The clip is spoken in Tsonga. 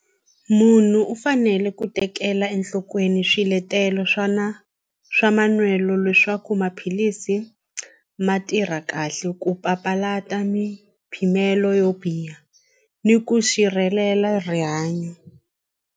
Munhu u fanele ku tekela enhlokweni swiletelo swa na swa manwelo leswaku maphilisi ma tirha kahle ku papalata mipimelo yo biha ni ku sirhelela rihanyo.